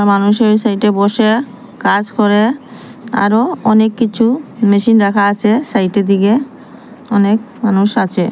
মানুষের সাইটে বসে কাজ করে আরো অনেক কিছু মেশিন রাখা আছে সাইটের দিকে অনেক মানুষ আছে।